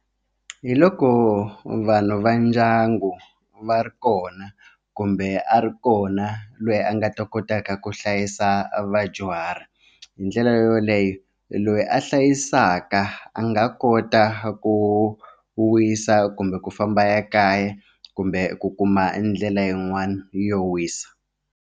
Hi loko vanhu va ndyangu va ri kona kumbe a ri kona loyi a nga ta kotaka ku hlayisa vadyuhari hi ndlela yoho yoleyo loyi a hlayisaka a nga kota ku wisa kumbe ku famba a ya kaya kumbe ku kuma ndlela yin'wana yo wisa.